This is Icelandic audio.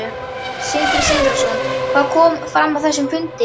Sindri Sindrason: Hvað kom fram á þessum fundi?